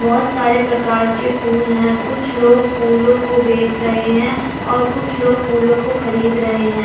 बहुत सारे प्रकार के फूल हैं कुछ लोग फूलों को बेच रहे हैं और कुछ लोग फूलों को खरीद रहे हैं।